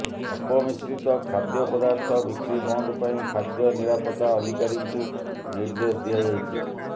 ଅପମିଶିତ ଖାଦ୍ୟପଦାର୍ଥ ବିକ୍ରୀ ବନ୍ଦ ପାଇଁ ଖାଦ୍ୟ ନିରାପତା ଅଧିକାରୀଙ୍କୁ ନିର୍ଦ୍ଦେଶ ଦିଆଯାଇଛି